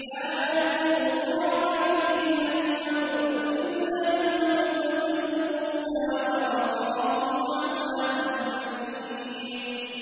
لَا يَذُوقُونَ فِيهَا الْمَوْتَ إِلَّا الْمَوْتَةَ الْأُولَىٰ ۖ وَوَقَاهُمْ عَذَابَ الْجَحِيمِ